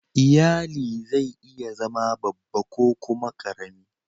lyalli zai iya zama babba ko kuma karemi.